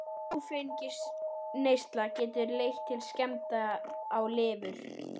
Langvinn áfengisneysla getur leitt til skemmda á lifur.